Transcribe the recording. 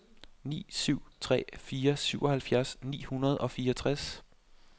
ni syv tre fire syvoghalvfjerds ni hundrede og fireogtres